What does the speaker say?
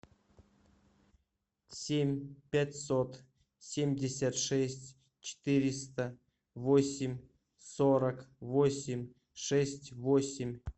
семь пятьсот семьдесят шесть четыреста восемь сорок восемь шесть восемь